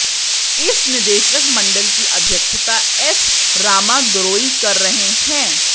इस निदेशक मंडल की अध्यक्षता एस रामादोरई कर रहे हैं